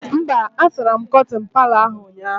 Mba, a sara m kọtịn Palọ ahụ ụnyaahụ